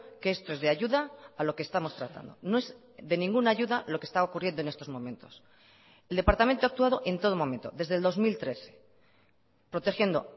que esto es de ayuda a lo que estamos tratando no es de ninguna ayuda lo que está ocurriendo en estos momentos el departamento ha actuado en todo momento desde el dos mil trece protegiendo